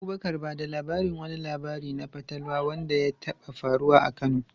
Abubakar, ba da labarin wani labari na fatalwa wanda ya taɓa faruwa a Kano.